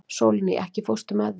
Sólný, ekki fórstu með þeim?